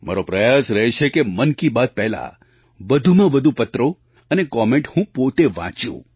મારો પ્રયાસ રહે છે કે મન કી બાત પહેલાં વધુમાં વધુ પત્રો અને કૉમેન્ટ હું પોતે વાંચું